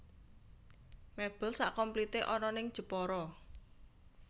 Mebel sak komplite ana ning Jepara